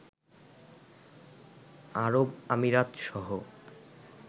আরব আমিরাতসহ